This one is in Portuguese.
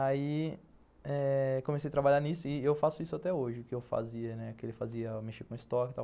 Aí eh comecei a trabalhar nisso e eu faço isso até hoje, o que eu fazia, né, o que ele fazia, mexia com estoque e tal.